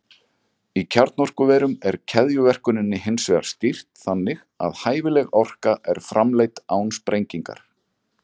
Í kjarnorkuverum er keðjuverkuninni hins vegar stýrt þannig að hæfileg orka er framleidd án sprengingar.